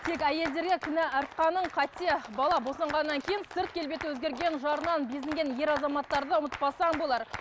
тек әйелдерге кінә артқаның қате бала босанғаннан кейін сырт келбеті өзгерген жарынан безінген ер азаматтарды ұмытпасаң болар